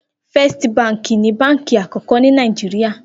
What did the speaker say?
Fèst bànkí ni bànkí ákòkò ni Nàijiriá